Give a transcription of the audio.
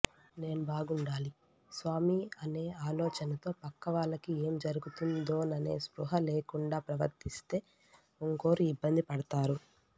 నేను బాగుండాలి స్వామీ అనే ఆలోచనతో పక్కవాళ్ళకి ఏం జరుగుతుందోననే స్పృహ లేకుండా ప్రవర్తిస్తే ఇంకోరు ఇబ్బంది పడతారు